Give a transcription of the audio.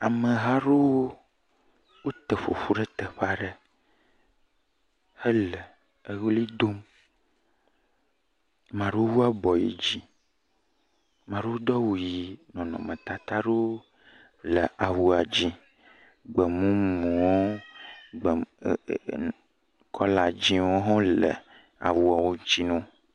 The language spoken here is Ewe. Ameha aɖewo wote ƒoƒu ɖe teƒe aɖe hele eʋli dom. Ame aɖewo wu abɔ yi dzi. Ame aɖewo do awu ʋi nɔnɔmetata aɖewo le awua dzi. Gbemumuwo gbem e e kɔla dziwo hã le awuawo dzi na wo.